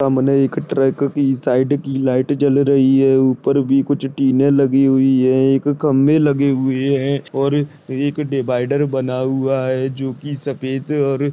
सामने एक ट्रक कि साइड की लाइट जल रही है उपर भी कुछ टिने लगी हुई है एक खंबे लगे हुए है और एक डिवायडर बना हुआ है जोकि सफ़ेद और --